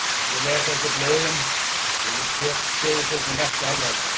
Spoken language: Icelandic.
Ég les ekki blöðin og ég tek sögusögnum ekki alvarlega.